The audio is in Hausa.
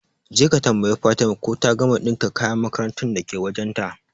Jeka ka tambayi Fatima ko ta gama ɗinka kayan makarantar dake wajen ta